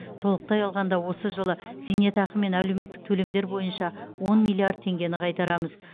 толықтай алғанда осы жылы зейнетақы мен әлеуметтік төлемдер бойынша он миллиард теңгені қайтарамыз